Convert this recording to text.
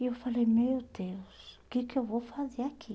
E eu falei, meu Deus, o que que eu vou fazer aqui?